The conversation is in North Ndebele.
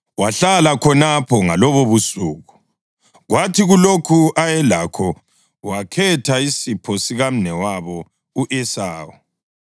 Wahlala khonapho ngalobobusuku, kwathi kulokho ayelakho wakhetha isipho sikamnewabo u-Esawu: